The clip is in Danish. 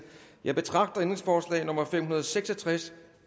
jeg betragter ændringsforslag nummer fem hundrede og seks og tres